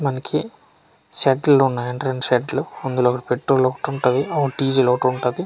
మనకి సెట్లున్నాయంట రెండు సెట్లు అందులో ఒకటి పెట్రోల్ ఒకటుంటది ఒకటి డీజిల్ ఒటుంటది.